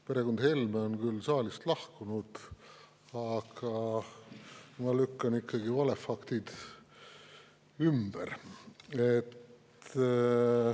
Perekond Helme on küll saalist lahkunud, aga ma lükkan ikkagi vale ümber.